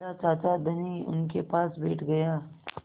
बिन्दा चाचा धनी उनके पास बैठ गया